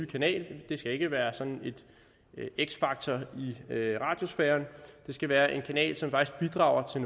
kanal det skal ikke være sådan en x factor i radiosfæren det skal være en kanal som faktisk bidrager til